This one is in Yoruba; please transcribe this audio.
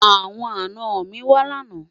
àwọn àná mí wà lànà